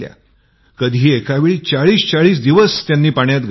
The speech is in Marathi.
कधी एकावेळी ४०४० दिवस पाण्यात घालवले